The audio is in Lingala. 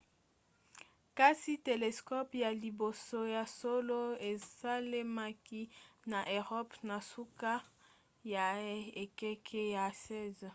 kasi telescope ya liboso ya solo esalemaki na eropa na suka ya ekeke ya 16